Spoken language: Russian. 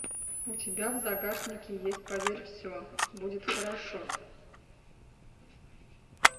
у тебя в загашнике есть поверь все будет хорошо